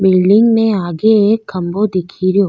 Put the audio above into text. Building में आगे एक खम्भों दिखे रो।